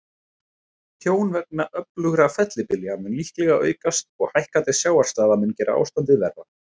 Tjón vegna öflugra fellibylja mun líklega aukast, og hækkandi sjávarstaða mun gera ástandið verra.